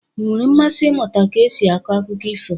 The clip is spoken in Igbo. Ị nwere mmasị ịmụta ka esi akọ akụkọ ifo?